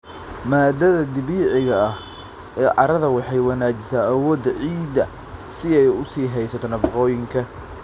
Maaddada dabiiciga ah ee carrada waxay wanaajisaa awoodda ciidda si ay u sii haysato nafaqooyinka.